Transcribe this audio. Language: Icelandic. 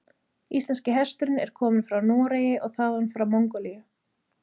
Íslenski hesturinn er kominn frá Noregi og þaðan frá Mongólíu.